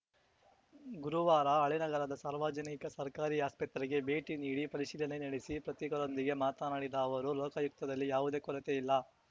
ಗುರುವಾರ ಹಳೇನಗರದ ಸಾರ್ವಜನಿಕ ಸರ್ಕಾರಿ ಆಸ್ಪತ್ರೆಗೆ ಭೇಟಿ ನೀಡಿ ಪರಿಶೀಲನೆ ನಡೆಸಿ ಪ್ರತಿಗಳೊಂದಿಗೆ ಮಾತನಾಡಿದ ಅವರು ಲೋಕಾಯುಕ್ತದಲ್ಲಿ ಯಾವುದೇ ಕೊರತೆ ಇಲ್ಲ